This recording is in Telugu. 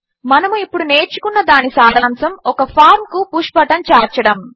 మనము ఇప్పుడు నేర్చుకున్న దాని సారాంశము ఒక ఫార్మ్ కు పుష్ బటన్ చేర్చడము